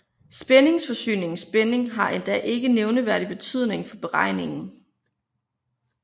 Spændingsforsyningens spænding har endda ikke nævneværdig betydning for beregningen